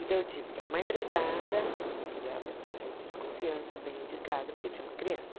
Então eu tive que arrumar empregada, precisava ser gente de confiança, bem indicada, porque tinha uma criança.